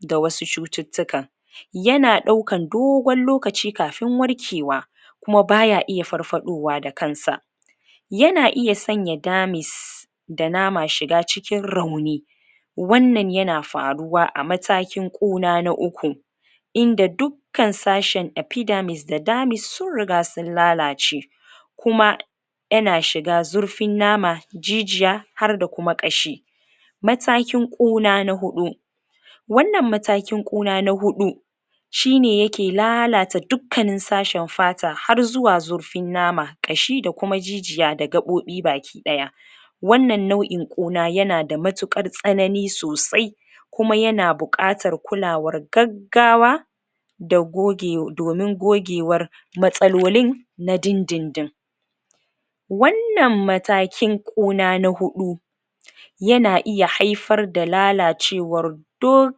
ga wasu cututtukan yana daukan dogon lokaci kafin warkewa kuma baya iya farfaɗowa da kansa yana iya sanya dermis da nama shiga cikin rauni wannan yana furuwa a matakin ƙuna na uku inda du kan sashin epidermis da dermis sun riga sun lalace kuma yana shiga zurfin nama jijiya harda kuma ƙashi matakin ƙuna na uku wanan matakin ƙuna na huɗu shine yakelalata dukkanin sashin fata har zuwa zurfin nama ,ƙashi da kuma jijiya da gaɓoɓi baki ɗaya wanan nau'in Ƙuna yana da mutuƘan tsanani sosai kuma yana buƘatar kulawar gaggawa da goge domin gogewar matsalolin na din din din wannan matakin Ƙuna na huɗu yana iya haifar da lalacewar du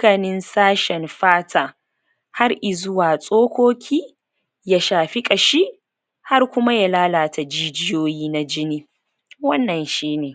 kanin sashin fata har izuwa tsokoki ya shafi Ƙashi har kuma ya lalata jijiyoyi na jini wannan shine